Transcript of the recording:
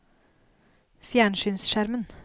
fjernsynsskjermen